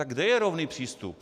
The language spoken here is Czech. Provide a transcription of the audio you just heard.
Tak kde je rovný přístup?